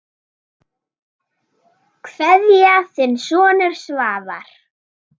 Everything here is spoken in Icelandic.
Kveðja, þinn sonur Svavar.